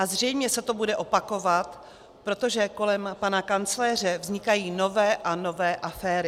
A zřejmě se to bude opakovat, protože kolem pana kancléře vznikají nové a nové aféry.